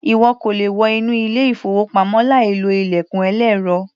Ìwọ kò le wọ inú ilé-ìfowópamọ́ láìlo ilẹ̀kùn ẹlẹ́rọ.